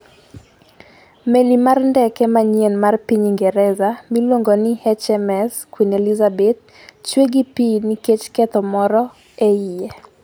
meli mar ndeke manyien mar piny Ingresa miluongo ni HMS Queen Elizabeth, chwe gi pi nikech ketho moro e iye.